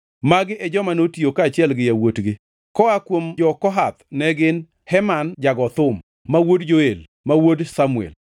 Magi e joma notiyo kaachiel gi yawuotgi: Koa kuom jo-Kohath ne gin: Heman jago thum, ma wuod Joel, ma wuod Samuel,